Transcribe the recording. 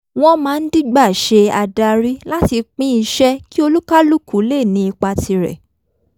wọ́n máa ń dígbà ṣe adarí láti pín iṣẹ́ kí oníkàlùkù lè ní ipa tirẹ̀